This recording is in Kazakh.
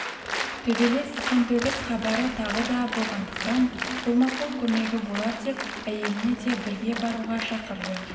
төбелес қантөгіс хабары тағы да болғандықтан қолма-қол көмегі болар деп әйелін де бірге баруға шақырды